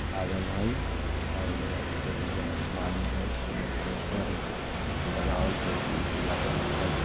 लागल हई और उज्जर - उज्जर आसमान दिखाई दे है पोस्टर है कुछ-कुछ लगावल ए_सी - उसी लागल हई।